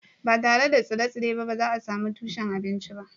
Ba tare da tsire-tsire ba, ba za a sami tushen abinci ba